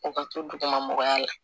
O ka to duguma mɔgɔya la